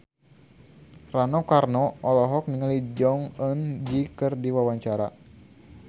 Rano Karno olohok ningali Jong Eun Ji keur diwawancara